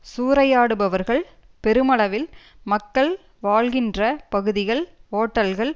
சூறையாடுபவர்கள் பெருமளவில் மக்கள் வாழ்கின்ற பகுதிகள் ஓட்டல்கள்